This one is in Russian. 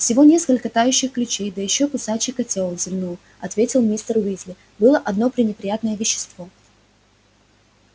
всего несколько тающих ключей да ещё кусачий котёл зевнув ответил мистер уизли было одно пренеприятное вещество